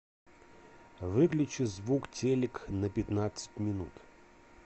выключи звук телек на пятнадцать минут